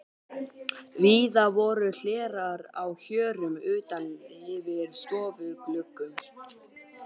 Víða voru hlerar á hjörum utan yfir stofugluggum.